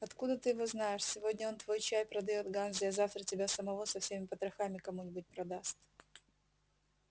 откуда ты его знаешь сегодня он твой чай продаёт ганзе а завтра тебя самого со всеми потрохами кому-нибудь продаст